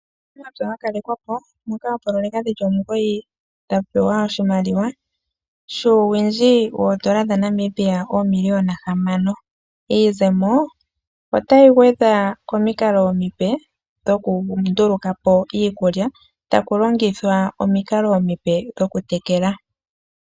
Uunamapya wa kalekwa po moka oopoloyeka dhi li omugoyi dha pewa oshimaliwa shuuwindji woodola dhaNamibia oomiliona hamano. Iizemo otayi gwedha komikalo omipe dhokunduluka po iikulya taku longithwa omikalo omipe dhokutekela.